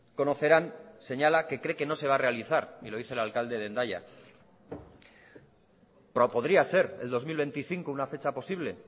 conocerán señala que cree que no se va a realizar y lo dice el alcalde de hendaya podría ser el dos mil veinticinco una fecha posible